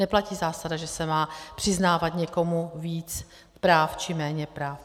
Neplatí zásada, že se má přiznávat někomu víc práv či méně práv.